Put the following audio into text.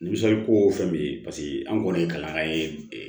ko fɛn min ye anw kɔni ye kalan ye